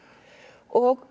og